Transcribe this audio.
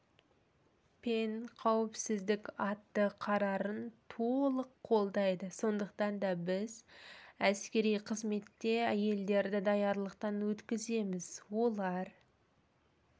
пен қауіпсіздік атты қарарын толық қолдайды сондықтан да біз әскери қызметте әйелдерді даярлықтан өткіземіз олар